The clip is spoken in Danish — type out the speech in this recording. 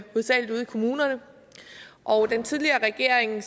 kommunerne og den tidligere regering